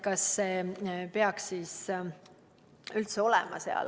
Kas see siis üldse peaks seal olema?